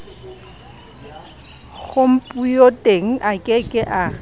khompuyuteng a ke ke a